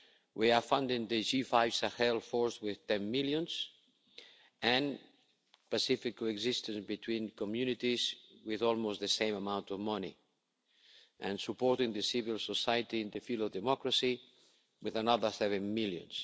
We are funding the G5 Sahel force with 10 million and peaceful co existence between communities with almost the same amount of money, and supporting the civil society in the field of democracy with another 7 million.